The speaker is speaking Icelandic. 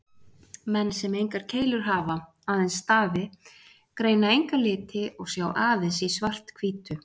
Menn sem engar keilur hafa, aðeins stafi, greina enga liti og sjá aðeins í svart-hvítu.